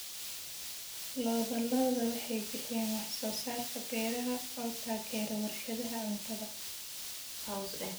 Lo'da lo'da waxay bixiyaan wax soo saarka beeraha oo taageera warshadaha cuntada.